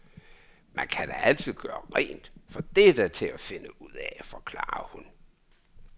Man kan da altid gøre rent, for det er da til at finde ud af, forklarer hun.